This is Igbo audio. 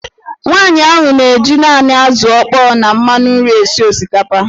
Nwaanyị ahụ na-eji naanị azụ̀ ọkpọọ na mmanụ nri esi osikapa.